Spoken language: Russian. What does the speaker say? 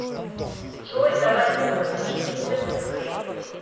джой давай купим мне киндер сюрприз